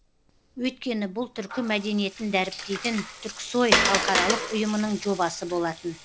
өйткені бұл түркі мәдениетін дәріптейтін түрксои халықаралық ұйымының жобасы болатын